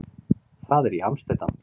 Það er í Amsterdam.